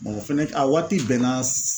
Mɔgɔ fɛnɛ a waati bɛnna